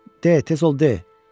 De, tez ol, de!